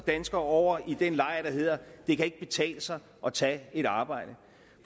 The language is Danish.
danskere over i den lejr der hedder det kan ikke betale sig at tage et arbejde